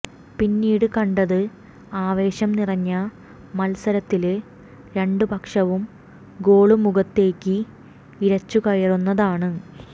പിന്നീട് കണ്ടത് ആവേശം നിറഞ്ഞ മത്സരത്തില് രണ്ട് പക്ഷവും ഗോള് മുഖത്തേക്ക് ഇരച്ചുകയറുന്നതാണ്